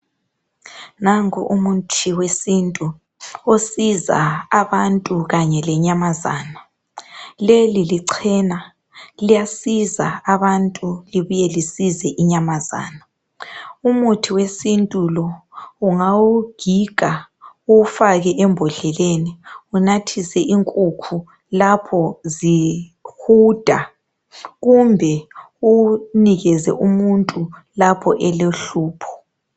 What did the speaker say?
Nanku umuthi wesintu osiza abantu kanye lenyamazana leli lichena liyasiza abantu libuye lisize inyamazana umuthi wesintu lo ungawugiga uwufake embodleleni unathise inkukhu lapho zihuda kumbe uwunike umuntu lapho elohlupho.